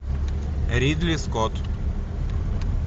ридли скотт